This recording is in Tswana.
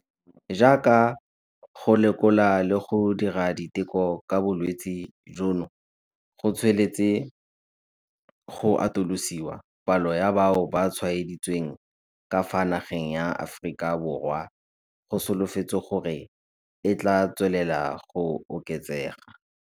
Jaaka go lekola le go dira diteko ka bolwetse jono go tsweletse go atolosiwa, palo ya bao ba tshwaeditsweng ka fa nageng ya Aforika Borwa go solofetswe gore e tla tswelela go oketsega.